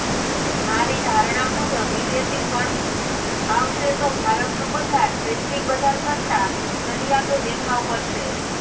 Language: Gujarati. મારી ધારણા મુજબ વિદેશી ફંડ્સ આવશે તો ભારતનું બજાર વૈશ્વિક બજાર કરતાં ચડિયાતો દેખાવ કરશે